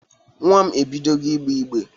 Nwa m ebidogo igbee igbe.